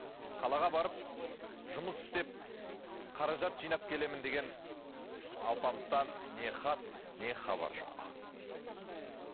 қалаға барып жұмыс істеп қаражат жинап келемін деген алпамыстан не хат не хабар жоқ